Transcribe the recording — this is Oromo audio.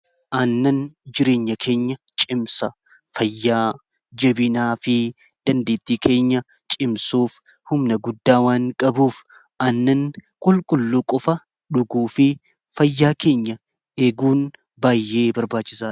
Aannan jireenya keenya cimsa fayyaa jabinaa fi dandeettii keenya cimsuuf humna guddaa waan qabuuf aannan qulqulluu qofa dhuguu fi fayyaa keenya eeguun baayyee barbaachisaadha.